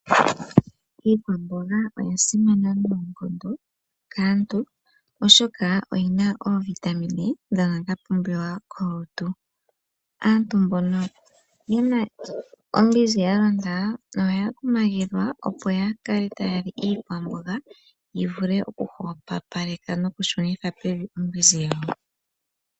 Iikwamboga oya simana noonkondo kaantu oshoka oyina oovitamin dhoka dha pumbiwa molutu. Aantu mbono yena ombinzi yalonda ohaya kumagidhwa opo ya kale taya li iikwamboga yi vule oku hwepopaleka noku shunitha pevi ombinzi yawo.